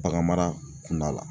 Baganmara kunda la